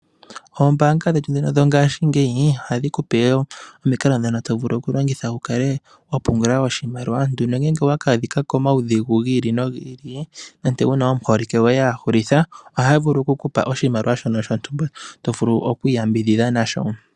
Oombaanga dhetu ndhino dhongashingeyi ohadhi ku pe wo omikalo ndhoka to vulu okulongitha, opo wu kale wa pungula oshimaliwa nongele owa ka adhika koudhigu gi ili nogi ili nande wu na omuholike goye a hulitha ohaa vulu oku ku pa oshimaliwa shono shontumba to vulu okwiiyambidhidha nasho.